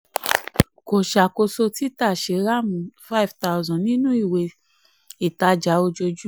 kò ṣàkóso tita shriram five thousand nínú ìwé ìtajà ojoojú.